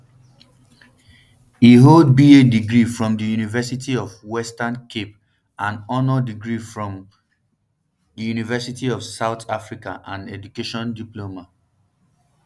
e hold ba degree from di university of di western cape and honours degree from um di um university of south africa and education diploma